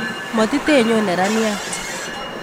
Motitinyon neraniat